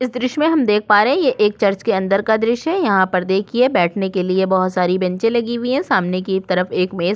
इस दृश्य में हम देख पा रहै है ये एक चर्च के अंदर का दृश्य है यहाँ पर देखिए बैठने के लिए बहुत सारी बेंचे लगी हुई है सामने की तरफ एक मेज --